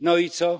No i co?